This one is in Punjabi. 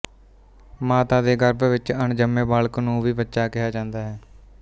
ਮਾਤਾ ਦੇ ਗਰਭ ਵਿੱਚ ਅਣਜੰਮੇ ਬਾਲਕ ਨੂੰ ਵੀ ਬੱਚਾ ਕਿਹਾ ਜਾਂਦਾ ਹੈ